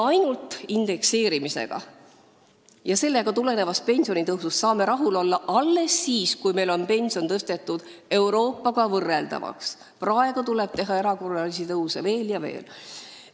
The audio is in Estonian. Ainult indekseerimisega ja sellest tuleneva pensionitõusuga saame rahul olla alles siis, kui meie pensionid on tõstetud Euroopa omadega võrreldavaks, praegu tuleb teha erakorralisi tõuse veel ja veel.